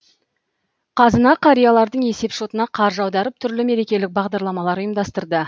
қазына қариялардың есепшотына қаржы аударып түрлі мерекелік бағдарламалар ұйымдастырды